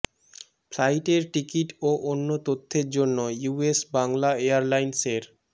ফ্লাইটের টিকিট ও অন্য তথ্যের জন্য ইউএস বাংলা এয়ারলাইন্সের